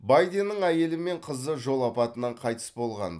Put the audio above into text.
байденнің әйелі мен қызы жол апатынан қайтыс болған